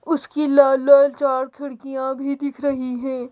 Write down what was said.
उसकी लाल लाल चार खिड़कियाँ भी दिख रही हैं।